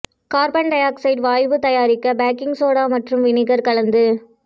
carbon dioxide வாயு தயாரிக்க baking soda மற்றும் வினிகர் கலந்து